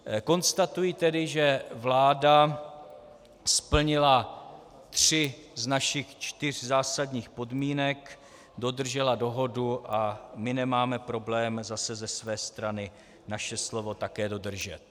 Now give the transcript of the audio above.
Konstatuji tedy, že vláda splnila tři z našich čtyř zásadních podmínek, dodržela dohodu a my nemáme problém zase ze své strany naše slovo také dodržet.